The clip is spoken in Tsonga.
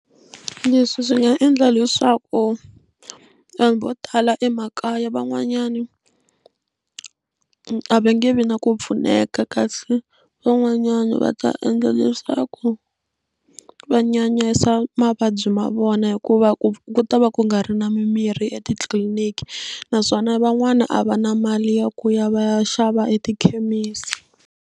Leswi swi nga endla leswaku vanhu vo tala emakaya van'wanyana a va nge vi na ku pfuneka kasi van'wanyana va ta endla leswaku va nyanyisa mavabyi ma vona hikuva ku ta va ku nga ri na mimirhi etitliliniki naswona van'wani a va na mali ya ku ya va ya xava etikhemisi.